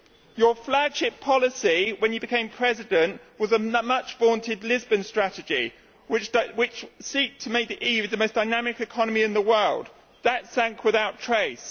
Your flagship policy, when you became President, was the much vaunted Lisbon Strategy which seeks to make the EU the most dynamic economy in the world. That sank without trace.